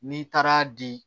N'i taara di